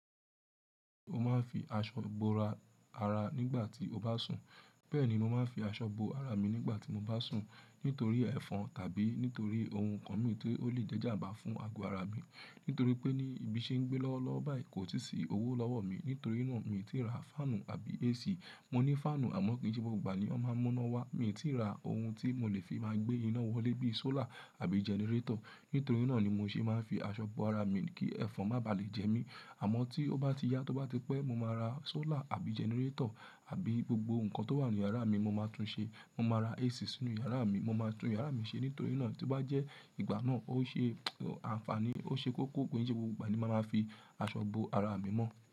Mo máa ń fi aṣọ bo ara nígbà tí mo bá sùn. Bẹ́ẹ̀ ni mo máa ń fi aṣọ bo ara mi nígbà tí mo bá sùn nítorí ẹ̀fọn tàbí nítorí ohun kan mi tó lè jẹ́ jàmbá fún ago ara mi. Nítorí pé ní ibi tí mo ń gbé lọ́wọ́lọ́wọ́ báyìí kò tìí sí owó lọ́wọ́ mi. Nítorí náà mi ò tí ì ra fáànù àbí AC. Mo ní fáànù àmọ́ kì í ṣe gbogbo ìgbà ni ó máa ń mú iná wá. Mi ò tí ì ra ohun tí mo lè fi máa ń gbé iná wọlé bíi solar àbí generator. Nítorí náà ni mo ṣe máa ń fi aṣọ bo ara mi kí ẹ̀fọn má bà lè jẹ mí. Àmọ́ tí ó bá tí yá, tí ó bá ti pẹ́, mo máa ra solar àbí generator àbí gbogbo nǹkan tó wà ní yàrá mi mo máa tún ṣe. Mo máa ra AC sínú yàrá mi, mo máa tún yàrá mi ṣe. Nítorí náà tí bá jẹ́ ìgbà náà ó ṣe àǹfààní, ó ṣe kókó pé kì í ṣe gbogbo ìgbà ni mo máa ń fi aṣọ bo ara mi mọ́.